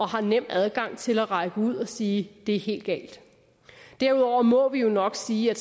har nem adgang til at række ud og sige at det er helt galt derudover må vi jo nok sige at